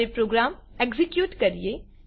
હવે program execute કરીએ